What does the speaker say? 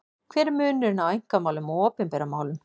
Hver er munurinn á einkamálum og opinberum málum?